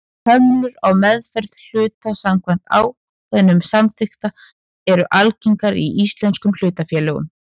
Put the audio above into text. Hömlur á meðferð hluta samkvæmt ákvæðum samþykkta eru algengar í íslenskum hlutafélögum.